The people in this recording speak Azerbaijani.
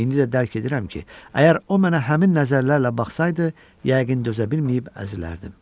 İndi də dərk edirəm ki, əgər o mənə həmin nəzərlərlə baxsasaydı, yəqin dözə bilməyib əzilərdim.